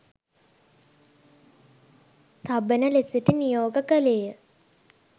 තබන ලෙසට නියෝග කළේය